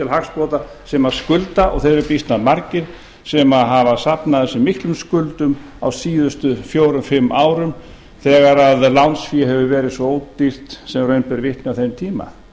hagsbóta sem skulda og þeir eru býsna margir sem hafa safnað ansi miklum skuldum á síðustu fjórum fimm árum þegar lánsfé hefur ári svo ódýrt sem raun ber vitni á þeim tíma